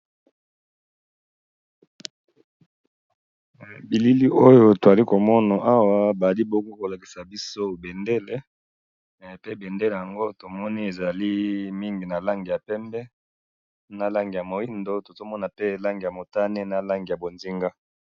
Awa na moni bendele na langi mine, langi ya pembe, moindo, bozinga na motane.